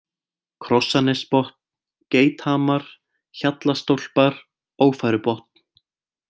Krossanesbotn, Geithamar, Hjallastólpar, Ófærubotn